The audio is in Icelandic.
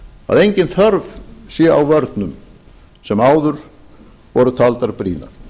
að engin þörf sé á vörnum sem áður voru taldar brýnar